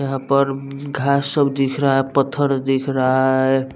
यहां पर घास सब दिख रहा है पत्थर दिख रहा है।